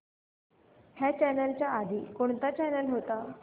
ह्या चॅनल च्या आधी कोणता चॅनल होता